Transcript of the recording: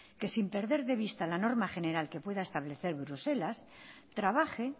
que sin perder de vista la norma general que pueda establecer bruselas trabaje